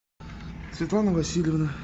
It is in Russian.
светлана васильевна